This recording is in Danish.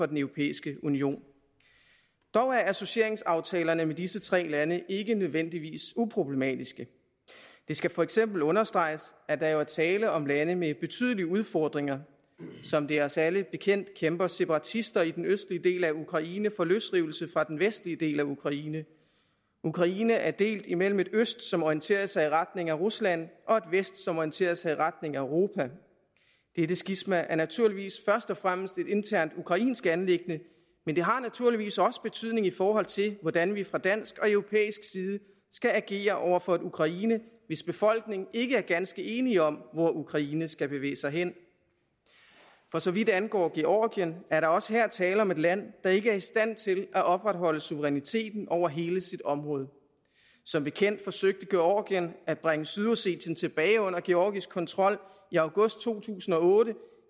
den europæiske union dog er associeringsaftalerne med disse tre lande ikke nødvendigvis uproblematiske det skal for eksempel understreges at der jo er tale om lande med betydelige udfordringer som det er os alle bekendt kæmper separatister i den østlige del af ukraine for løsrivelse fra den vestlige del af ukraine ukraine er delt imellem et øst som orienterer sig i retning af rusland og et vest som orienterer sig i retning af europa det skisma er naturligvis først og fremmest et internt ukrainsk anliggende men det har naturligvis også betydning i forhold til hvordan vi fra dansk og europæisk side skal agere over for et ukraine hvis befolkning ikke er ganske enige om hvor ukraine skal bevæge sig hen for så vidt angår georgien er der også her tale om et land der ikke er i stand til at opretholde suveræniteten over hele sit område som bekendt forsøgte georgien at bringe sydossetien tilbage under georgisk kontrol i august to tusind og otte